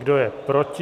Kdo je proti?